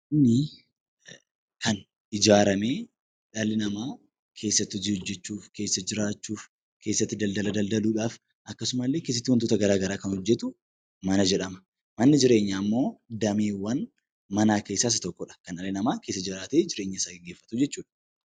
Manni kan ijaaramee dhalli namaa keessatti hojii hojjechuuf, keessa jiraachuuf, keessatti daldala daldaluu dhaaf akkasumallee keessatti wantoota gara garaa kan hojjetu 'Mana' jedhama. Manni jireenyaa immoo dameewwan manaa keessaa isa tokko dha. Kan dhalli namaa keessa jiraatee jireenya isaa geggeeffatu jechuu dha.